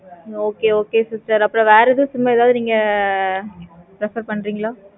okay okay sister வேற எது sim ஆஹ் accept பண்றது.